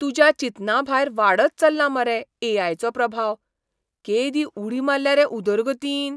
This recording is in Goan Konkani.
तुज्या चिंतनाभायर वाडत चल्ला मरे ए.आय. चो प्रभाव. केदी उडी मारल्या रे उदरगतीन!